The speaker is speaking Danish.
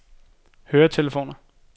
høretelefoner